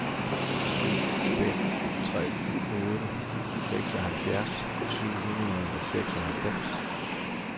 syv fem tre otte seksoghalvfjerds syv hundrede og seksoghalvfems